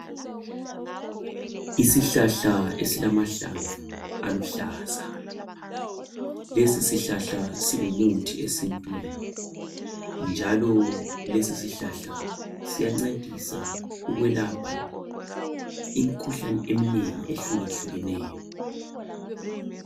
Isihlahla esilamahlamvu aluhlaza. Lesisihlahla ingumuthi esintwini, njlo lesisihlahka siyancedisa ukwelapha imikhuhkane eminengi, etshiyatshiyeneyo.